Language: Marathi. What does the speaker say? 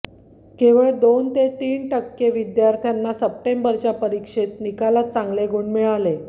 केवळ दोन ते तीन टक्के विद्यार्थ्यांना सप्टेंबरच्या परीक्षेत निकालात चांगले गुण मिळाले